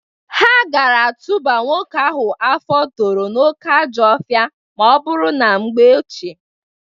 Ha gara atụba nwoke ahụ afọ toro n'oke ajọọ ohịa ma ọ bụrụ na mgbe ochie.